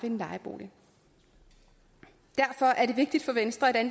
en lejebolig derfor er det vigtigt for venstre at